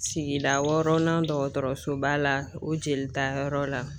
Sigida wɔɔrɔnan dɔgɔtɔrɔsoba la o jelitayɔrɔ la